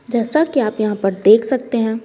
जैसा कि आप यहां पर देख सकते हैं।